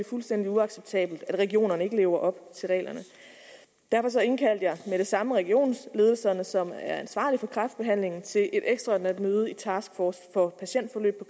fuldstændig uacceptabelt at regionerne ikke lever op til reglerne derfor indkaldte jeg med det samme regionsledelserne som er ansvarlige for kræftbehandlingen til et ekstraordinært møde i task force for patientforløb